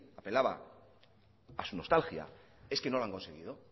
apelaba a su nostalgia es que no lo han conseguido